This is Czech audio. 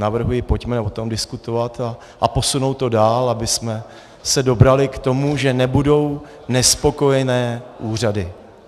Navrhuji, pojďme o tom diskutovat a posunout to dál, abychom se dobrali k tomu, že nebudou nespokojené úřady.